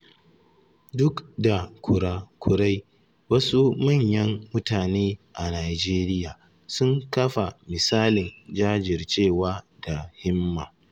Duk da kura-kurai, wasu manyan mutane a Najeriya sun kafa misalin jajircewa da himma.